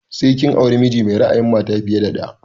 Sai kin auri miji mai ra'ayin mata fiye da ɗaya!